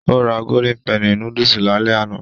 Ó ra golden penny núdúsì lálẹ́ àná